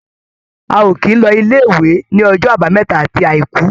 A ò kì í lọ ilé-ìwé ní ọjọ́ Àbámẹ́ta àti Àìkú.